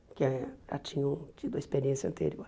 Porque já tinham tido a experiência anterior.